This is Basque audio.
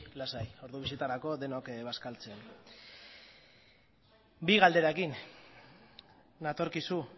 lasai ordu bietarako denok bazkaltzen bi galderekin natorkizu